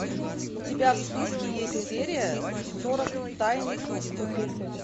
у тебя в списке есть серия сорок тайный круг